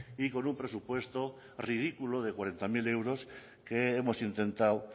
y con un presupuesto ridículo de cuarenta mil euros que hemos intentado